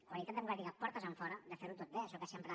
qualitat democràtica portes enfora de ferho tot bé això que sempre